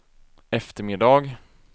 eftermiddag